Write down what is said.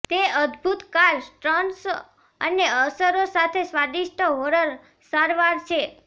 તે અદભૂત car stunts અને અસરો સાથે સ્વાદિષ્ટ હોરર સારવાર છે